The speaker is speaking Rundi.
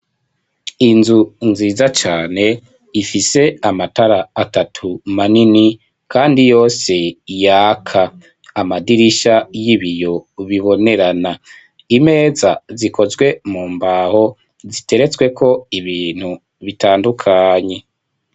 Inzu, nziza cane, ifise amatara atatu, manini, kandi yose yaka; amadirisha y'ibiyo, bibonerana; imeza, zikozwe mu mbaho, ziteretsweko ibintu, bitandukanye.